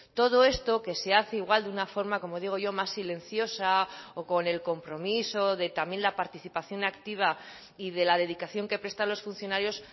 todo esto que se hace igual de una forma como digo yo más silenciosa o con el compromiso de también la participación activa y de la dedicación que prestan los funcionarios